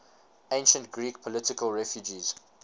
ancient greek political refugees